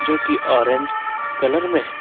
जो कि orange colour में है।